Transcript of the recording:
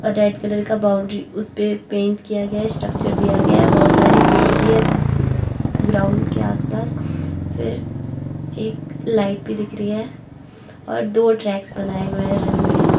Red colour का boundary उसपे paint किया गया है स्ट्रक्चर दिया गया है बहुत सारे पेड़ भी हैं ग्राउंड के आसपास फिर एक लाइट भी दिख रही है और दो ट्रैक्स बनाए हुए हैं रनिंग के।